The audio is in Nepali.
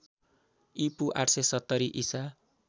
ईपू ८७० ईसा